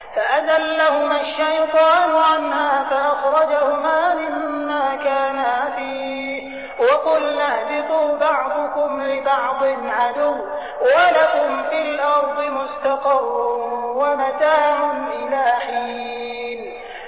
فَأَزَلَّهُمَا الشَّيْطَانُ عَنْهَا فَأَخْرَجَهُمَا مِمَّا كَانَا فِيهِ ۖ وَقُلْنَا اهْبِطُوا بَعْضُكُمْ لِبَعْضٍ عَدُوٌّ ۖ وَلَكُمْ فِي الْأَرْضِ مُسْتَقَرٌّ وَمَتَاعٌ إِلَىٰ حِينٍ